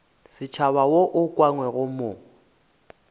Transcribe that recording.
setšhaba wo o ukangwego mo